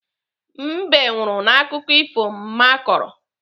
Mbe nwụrụ n'akụkọ ifo mma kọrọ.